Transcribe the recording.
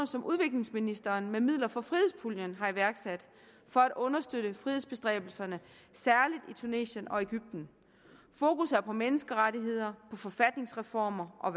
som udviklingsministeren med midler fra frihedspuljen har iværksat for at understøtte frihedsbestræbelserne særlig i tunesien og egypten fokus er på menneskerettigheder på forfatningsreformer og